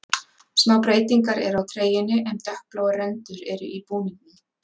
Smá breytingar eru á treyjunni en dökkbláar rendur eru í búningnum.